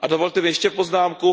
A dovolte mi ještě poznámku.